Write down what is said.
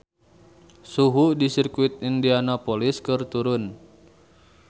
Suhu di Sirkuit Indianapolis keur turun